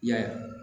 I y'a ye